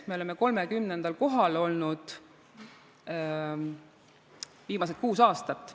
Me oleme 30. kohal olnud viimased kuus aastat.